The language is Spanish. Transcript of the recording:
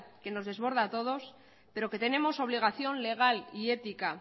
que nos desborda a todos pero que tenemos obligación legal y ética